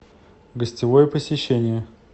гостевое посещение